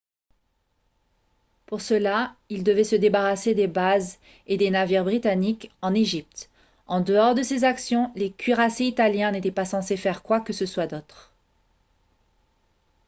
pour cela ils devaient se débarrasser des bases et des navires britanniques en égypte en dehors de ces actions les cuirassés italiens n'étaient pas censés faire quoi que ce soit d'autre